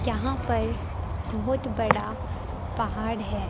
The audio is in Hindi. यहां पर बहोत बड़ा पहाड़ है।